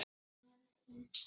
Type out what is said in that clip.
Þetta er reyndar ekkert nýtt.